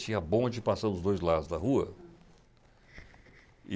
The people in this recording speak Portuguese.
Tinha bonde passando dos dois lados da rua.